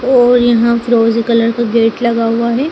और यहाँ फिरोजी कलर का गेट लगा हुआ है।